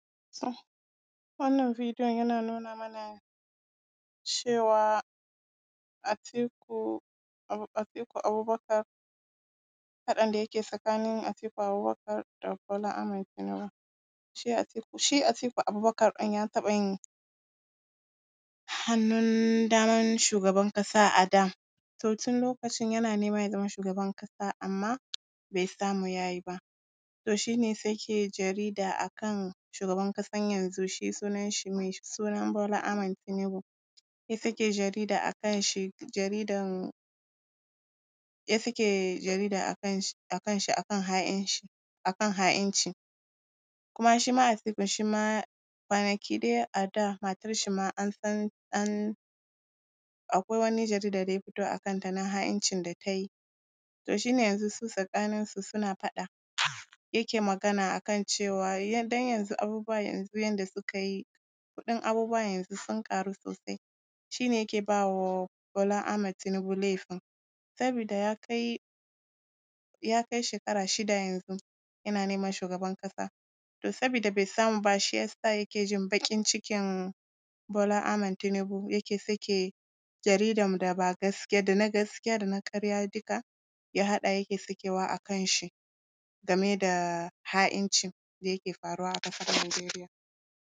To wannan videon yana nuna mana cewa, Atiku, Atiku Abubakar, faɗan da yake tsakanin Atiku Abubakar da Bola Ahmed Tinubu. Shi Atiku Abubakar ɗin ya taɓa yin hannun daman shugaban ƙasa a da, to tun lokacin yana nema ya zama shugaban ƙasa, amma bai samu ya yi ba. To shi ne sai yake jarida a kan shugaban ƙasan yanzu, shi sunanshi, mai suna Bola Ahmed Tinubu. Sai suke jarida a kanshi, jaridan… sai suke jarida a kan shi, a kan shi, a kan ha’inci, a kan ha’inci. Kuma shi ma Atikun shi ma kwanaki dai a da matarshi ma an san an… akwai wani jarida da ya fito a kanta na ha’incin da ta yi. To shi ne su yanzu su tsakaninsu suna faɗa, yake magana a kan cewa, don yanzu abubuwa yanzu yadda suka yi, kuɗin abubuwa yanzu sun ƙaru sosai, shi ne yake ba wa Bola Ahmed Tinubu laifin, sabida ya kai, ya kai shekara shida yanzun, yana neman shugaban ƙasa. To sabida bai samu ba, shi ya sa yake jin baƙin cikin Bola Ahmed Tinubu,, yake sake jaridan da ba gaskiya… da na gaskiya da na ƙarya duka, ya haɗa yake sakewa a kanshi game da ha’inci da yake faruwa a ƙasar Nigeria.